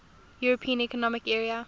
european economic area